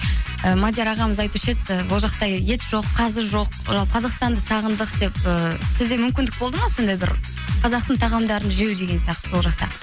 ы мадияр ағамыз айтушы еді ы ол жақта ет жоқ қазы жоқ ыыы қазақстанды сағындық деп ыыы сізде мүмкіндік болды ма сондай бір қазақтың тағамдарын жеу деген сияқты сол жақта